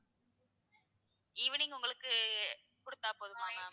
evening உங்களுக்கு குடுத்தா போதுமா ma'am.